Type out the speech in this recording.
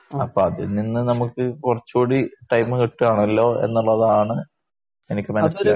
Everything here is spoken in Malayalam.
അപ്പോ അതിൽ നിന്ന് നമുക്ക് കുറച്ച് കൂടി ടൈം കിട്ടുകയാണല്ലോ എന്നുള്ളതാണ് എനിക്ക് മനസ്സിലാവുന്നത്.